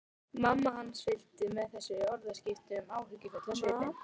Mamma hans fylgdist með þessum orðaskiptum áhyggjufull á svipinn.